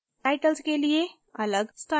titles के लिए अलग styles